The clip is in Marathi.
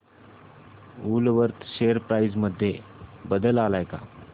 वूलवर्थ शेअर प्राइस मध्ये बदल आलाय का